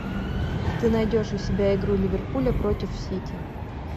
ты найдешь у себя игру ливерпуля против сити